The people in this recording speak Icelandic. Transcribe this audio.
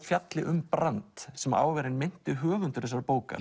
fjalli um brand sem á að vera hinn meinti höfundur þessarar bókar